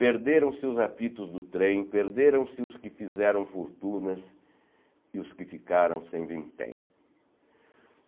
Perderam-se os apitos do trem, perderam-se os que fizeram fortunas e os que ficaram sem vintém.